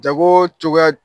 Jagocogoya